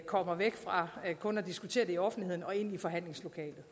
kommer væk fra kun at diskutere det i offentligheden og ind i forhandlingslokalet